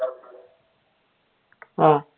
ആഹ്